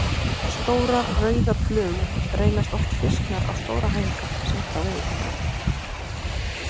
Stórar, rauðar flugur reynast oft fisknar á stóra hænga seint á veiðitímanum.